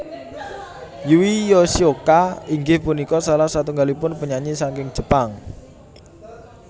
Yui Yoshioka inggih punika salah satunggalipun penyanyi saking Jepang